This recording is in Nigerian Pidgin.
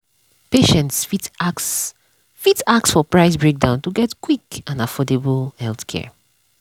patients fit ask fit ask for price breakdown to get quick and affordable healthcare.